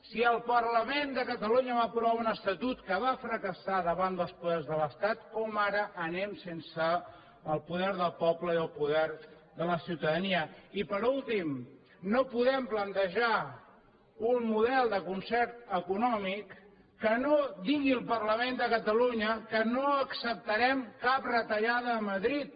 si el parlament de catalunya va aprovar un estatut que va fracassar davant dels poders de l’estat com és que ara anem sense el poder del poble i el poder de la ciutadania i per últim no podem plantejar un model de concert econòmic que no digui el parlament de catalunya que no acceptarem cap retallada a madrid